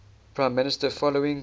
prime minister following